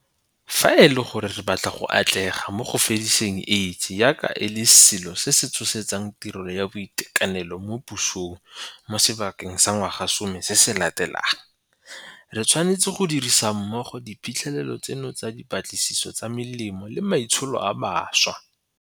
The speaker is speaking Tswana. Fa e le gore re batla go atlega mo go fediseng AIDS jaaka e le selo se se tshosetsang tirelo ya boitekanelo mo pusong mo sebakeng sa ngwagasome se se latelang, re tshwanetse go dirisa mmogo diphitlhelelo tseno tsa dipatlisiso tsa melemo le maitsholo a mašwa.